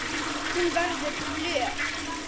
Hún verður flöt.